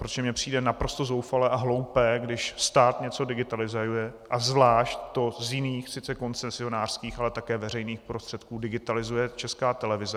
Protože mě přijde naprosto zoufalé a hloupé, když stát něco digitalizuje a zvlášť to z jiných, sice koncesionářských, ale také veřejných prostředků digitalizuje Česká televize.